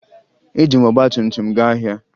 Eji m ọgbatumtum m gaa ahịa